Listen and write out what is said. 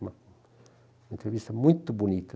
Uma entrevista muito bonita.